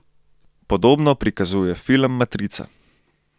Podobno prikazuje film Matrica.